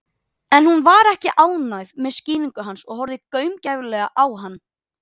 En hún var ekki ánægð með þessa skýringu og horfði gaumgæfilega á hann.